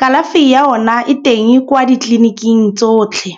Kalafi ya ona e teng kwa ditleliniking tsotlhe.